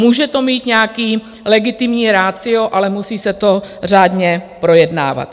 Může to mít nějaké legitimní ratio, ale musí se to řádně projednávat.